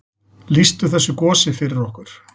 Lýstu þessu gosi fyrir okkur.